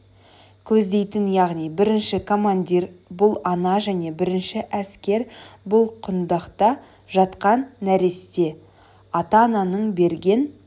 көздейтін яғни бірінші командир бұл ана және бірінші әскер бұл құндақта жатқан нәресте ата-ананың берген